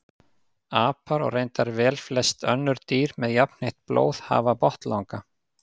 Apar og reyndar velflest önnur dýr með jafnheitt blóð hafa botnlanga.